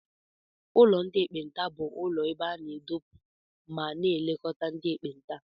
Ụlọ ndị ekpenta bụ ụlọ ebe a na-edopụ ma na-elekọta ndị ekpenta.